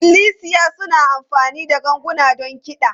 Ikklisiya suna amfani da ganguna don kiɗa.